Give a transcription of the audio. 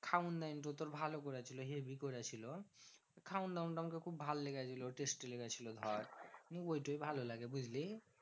খাওন দাওন তোর ভালো করেছিল হেবি করেছিল। খাওন দাওন তো আমাকে খুব ভালো লেগেছিলো testy লেগেছিলো ধর। নিয়ে ঐটাই ভালো লাগে বুঝলি?